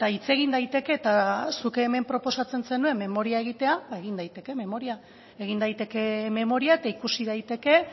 hitz egin daiteke eta zuk hemen proposatzen zenuen memoria egitea ba egin daiteke memoria egin daiteke memoria eta ikusi daiteke